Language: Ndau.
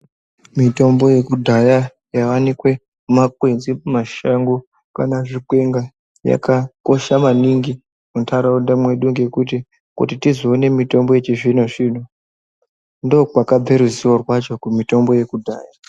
Mitombo yekudhaya yaionekwe mumakwenzi mumashango kana zvikwenga yakakosha maningi muntaraunda mwedu ngekuti kuti tizoone mitombo yechizvino-zvino ndokwakabva ruzivo rwacho kumitombo yekudhaya.